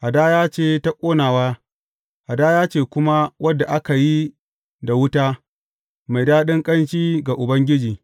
Hadaya ce ta ƙonawa, hadaya ce kuma wadda aka yi da wuta, mai daɗin ƙanshi ga Ubangiji.